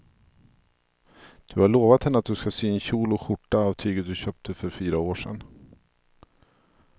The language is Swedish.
Du har lovat henne att du ska sy en kjol och skjorta av tyget du köpte för fyra år sedan.